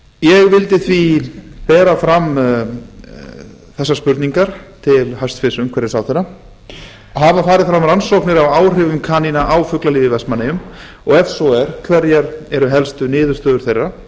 ég vildi því bera fram þessar spurningar til hæstvirts umhverfisráðherra fyrstu hafa farið fram rannsóknir á áhrifum kanína á fuglalíf í vestmannaeyjum og ef svo er hverjar eru þá helstu niðurstöður þeirra